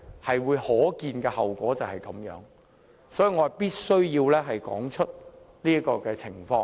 這是可見的後果，所以我必須道出這種情況。